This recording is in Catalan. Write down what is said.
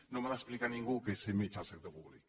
no m’ha d’explicar ningú què és ser metge al sector públic